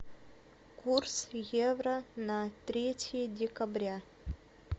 курс евро на третье декабря